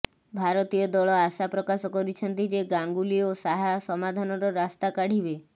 ଭାରତୀୟ ଦଳ ଆଶା ପ୍ରକାଶ କରିଛନ୍ତି ଯେ ଗାଙ୍ଗୁଲି ଓ ଶାହା ସମାଧାନର ରାସ୍ତା କାଢିବେ